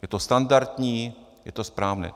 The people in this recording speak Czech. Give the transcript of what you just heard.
Je to standardní, je to správné.